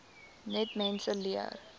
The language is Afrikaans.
net mense leer